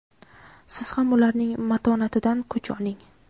Siz ham ularning matonatidan kuch oling!.